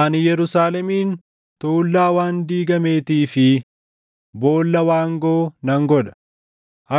“Ani Yerusaalemin tuullaa waan diigameetii fi boolla waangoo nan godha;